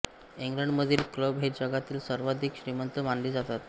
इंग्लंडमधील क्लब हे जगातील सर्वाधिक श्रीमंत मानले जातात